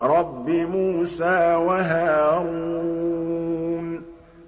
رَبِّ مُوسَىٰ وَهَارُونَ